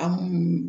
An